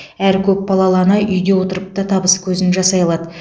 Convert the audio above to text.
әр көпбалалы ана үйде отырып та табыс көзін жасай алады